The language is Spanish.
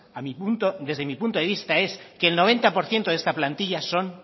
desde mi punto de vista es que el noventa por ciento de esta plantilla son